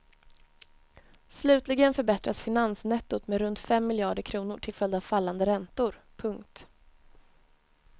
Slutligen förbättras finansnettot med runt fem miljarder kronor till följd av fallande räntor. punkt